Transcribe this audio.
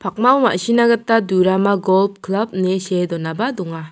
pakmao ma·sina gita durama golp klap ine see donaba donga.